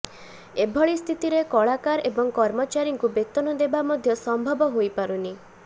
ଏଭଳି ସ୍ଥିତିରେ କଳାକାର ଏବଂ କର୍ମଚାରୀଙ୍କୁ ବେତନ ଦେବା ମଧ୍ୟ ସମ୍ଭବ ହୋଇପାରୁନି